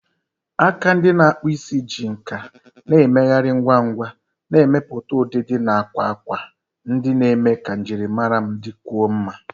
Aka ndị na-akpụ isi ji nkà na-emegharị ngwa ngwa, na-emepụta ụdịdị na akwa akwa ndị na-eme ka njirimara m dịkwuo mma.